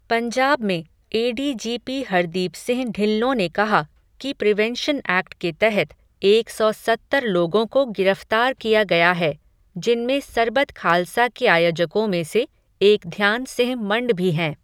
पंजाब में एडीजीपी हरदीप सिंह ढिल्लों ने कहा, कि प्रिवेंशन एक्ट के तहत, एक सौ सत्तर लोगों को गिरफ़्तार किया गया है, जिनमें सरबत खालसा के आयोजकों में से, एक ध्यान सिंह मंड भी हैं.